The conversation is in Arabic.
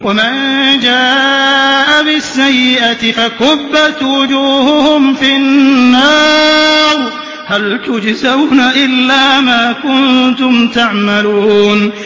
وَمَن جَاءَ بِالسَّيِّئَةِ فَكُبَّتْ وُجُوهُهُمْ فِي النَّارِ هَلْ تُجْزَوْنَ إِلَّا مَا كُنتُمْ تَعْمَلُونَ